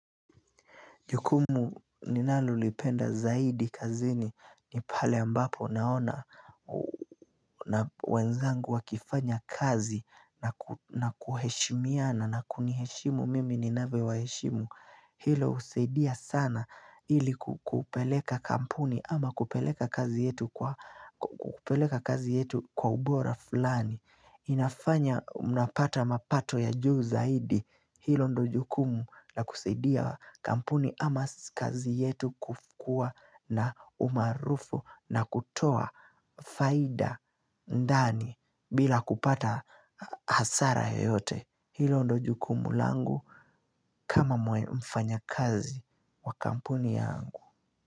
Jukumu ninalolipenda zaidi kazini ni pale ambapo naona wenzangu wakifanya kazi na kuheshimiana na kuniheshimu mimi ninavyowaheshimu. Hilo husaidia sana ili kupeleka kampuni ama kupeleka kazi yetu kwa ubora fulani. Inafanya mnapata mapato ya juu zaidi hilo ndo jukumu na kusaidia kampuni ama kazi yetu kufu kuwa na umaarufu na kutoa faida ndani bila kupata hasara yoyote. Hilo ndo jukumu langu kama mfanyakazi wa kampuni yangu.